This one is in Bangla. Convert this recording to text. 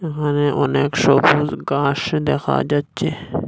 এখানে অনেক সবুজ গাস দেখা যাচ্ছে।